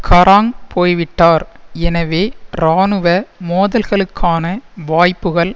Garang போய்விட்டார் எனவே இராணுவ மோதல்களுக்கான வாய்ப்புகள்